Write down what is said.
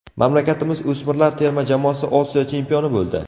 Mamlakatimiz o‘smirlar terma jamoasi Osiyo chempioni bo‘ldi.